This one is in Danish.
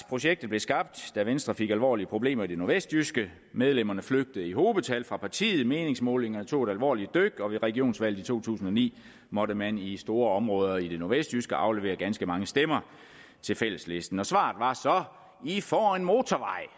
projektet skabt da venstre fik alvorlige problemer i det nordvestjyske medlemmerne flygtede i hobetal fra partiet meningsmålingerne tog et alvorligt dyk og ved regionsvalget i to tusind og ni måtte man i store områder i det nordvestjyske aflevere ganske mange stemmer til fælleslisten svaret var så i får en motorvej